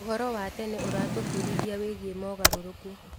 ũhoro wa tene ũratũbundithia wĩgiĩ mogarũrũku.